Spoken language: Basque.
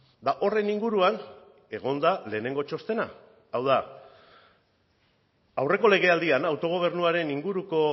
eta horren inguruan egon da lehenengo txostena hau da aurreko legealdian autogobernuaren inguruko